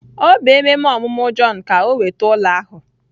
Ọ bụ ememe ọmụmụ Jọn ka o nweta ụlọ ahụ